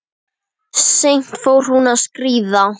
Seint fór hún að skríða.